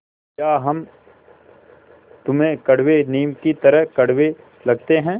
या हम तुम्हें कड़वे नीम की तरह कड़वे लगते हैं